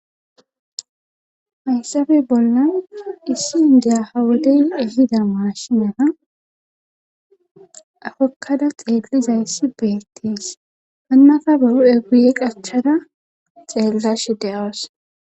Hayssabe bolla issi indiya hawodeyn ihida maashimana afokkada xeellizayssi beettiis hannafa buru7eguye qachada xeellash de7oos.